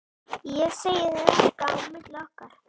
Ég segi þér þetta okkar á milli